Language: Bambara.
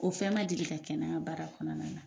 O fɛn ma deli ka kɛ na n ka baara kɔnɔna na.